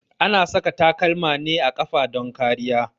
A na saka takalma ne a ƙafa don kariya.